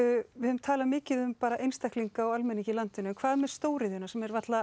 við höfum talað mikið um einstaklinga og almenning í landinu hvað með stóriðjuna sem er varla